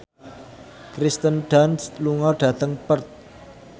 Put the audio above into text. Kirsten Dunst lunga dhateng Perth